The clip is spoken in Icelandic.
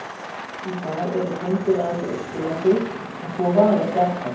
Í dag eru hreindýr aðeins á Austurlandi en svo var ekki alltaf.